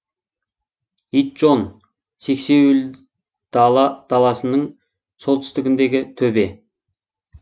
итжон сексеуілдала даласының солтүстігіндегі төбе